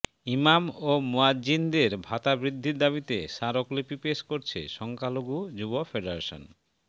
ইমাম ও মুয়াজ্জিনদের ভাতা বৃদ্ধির দাবিতে স্মারকলিপি পেশ করছে সংখ্যালঘু যুব ফেডারেশন